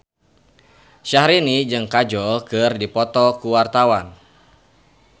Syahrini jeung Kajol keur dipoto ku wartawan